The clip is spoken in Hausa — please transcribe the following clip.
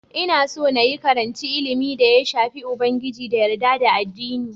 Ina so na yi karanci ilimin da ya shafi Ubangiji da yarda da addini.